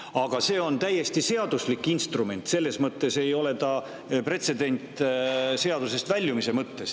Aga see on täiesti seaduslik instrument, selles mõttes ei ole see pretsedent seaduse väljumise mõttes.